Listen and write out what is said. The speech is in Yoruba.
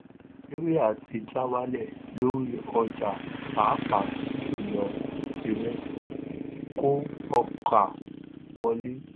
nàìjíríà ti ja wálẹ̀ lórí ọjà pàápà jùlọ ìrẹsì kó ọkà wọlé.